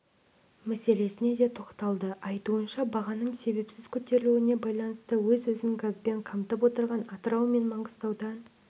мәселесіне де тоқталды айтуынша бағаның себепсіз көтерілуіне байланысты өзін-өзі газбен қамтып отырған атырау мен маңғыстаудан